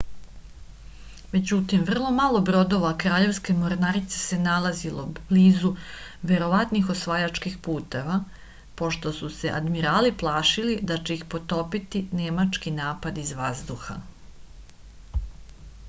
međutim vrlo malo brodova kraljevske mornarice se nalazilo blizu verovatnih osvajačkih puteva pošto su se admirali plašili da će ih potopiti nemački napad iz vazduha